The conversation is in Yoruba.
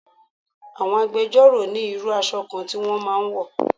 Àwọn agbẹjọ́ro ni irú aṣọ kan tí wọ́n máa ń wọ̀